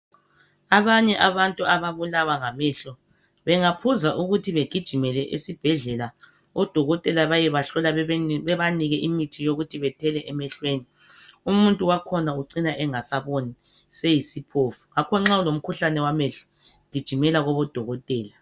Abanye abantu ababulawa ngamehlo bengaphuza ukuthi begijimele esibhedlela odokotela bayebahlola bebanike imithi yokuthi bethele emehlweni umuntu wakhona ucina engasaboni seyisiphofu. Ngakho nxa ulomkhuhlane wamehlo gijimela kubodokotela.